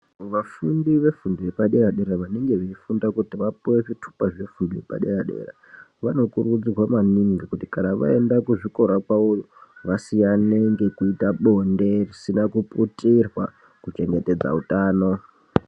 Vafundi vefundo yepadera dera vanenge vachifunda kuti vapuwe zvitupa zvefundo yepadera dera vanokurudzirwa maningi kuti kana vaenda kuzvikora kwavo iyo vasiyane nekuita bonde risina kuputirwa kuchengetedza hutano.